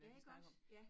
Ja iggås ja